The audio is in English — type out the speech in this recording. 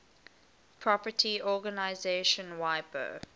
property organization wipo